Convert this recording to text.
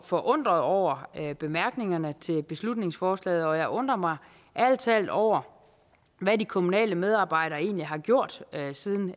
forundret over bemærkningerne til beslutningsforslaget og jeg undrer mig ærlig talt over hvad de kommunale medarbejdere egentlig har gjort siden